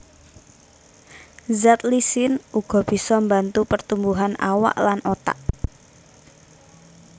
Zat lysine uga bisa mbantu pertumbuhan awak lan otak